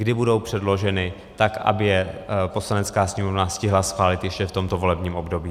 Kdy budou předloženy, tak aby je Poslanecká sněmovna stihla schválit ještě v tomto volebním období?